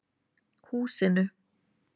Húsinu